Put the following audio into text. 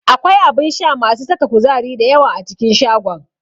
Akwai abun sha masu saka kuzari da yawa a cikin shagon.